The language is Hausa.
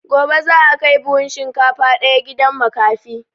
Gobe za a kai buhun shinkafa ɗaya gidan makafi